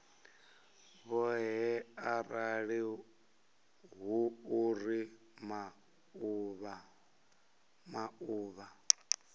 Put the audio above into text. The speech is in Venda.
vhoṱhe arali hu uri maḓuvha